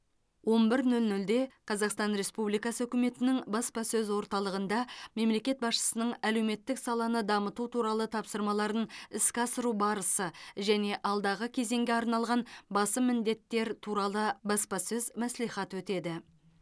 он бір нөл нөлде қазақстан республикасы үкіметінің баспасөз орталығында мемлекет басшысының әлеуметтік саланы дамыту туралы тапсырмаларын іске асыру барысы және алдағы кезеңге арналған басым міндеттер туралы баспасөз мәслихаты өтеді